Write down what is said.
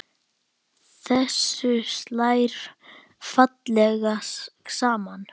Þessu slær fallega saman.